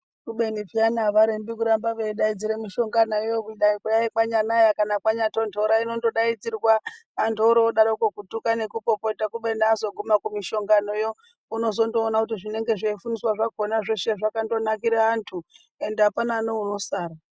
Kubeni peyani havarembi kuramba veidaidzire mishonganayo kudayi kwanyanaya kana kwanyatondora inondodaidzirwa. Antu oorodaroko kutuka nekupopota. Kubeni azoguma kumishonganoyo unozondoona kuti zvinenge zveifundiswa zvakhona zveshe zvakandonakire antu, ende hapana neunosara.